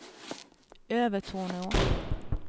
Övertorneå